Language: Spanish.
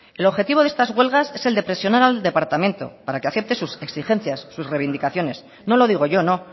el objetivo de estas huelgas es el de presionar al departamento para que acepte sus exigencias sus reivindicaciones no lo digo yo no